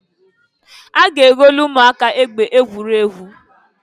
A ga-egolu umuaka egbe egwuregwu.